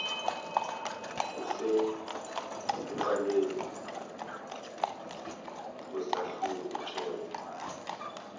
osekuqaleni kwesahluko tshela